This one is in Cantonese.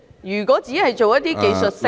如果只是作一些技術性的......